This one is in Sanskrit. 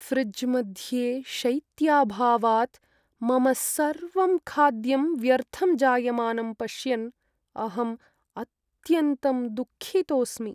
फ्रिज्मध्ये शैत्याभावात् मम सर्वं खाद्यं व्यर्थं जायमानं पश्यन् अहम् अत्यन्तं दुःखितोस्मि।